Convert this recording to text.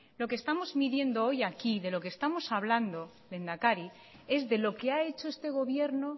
lo que estamos midiendo hoy aquí de lo que estamos hablando lehendakari es de lo que ha hecho este gobierno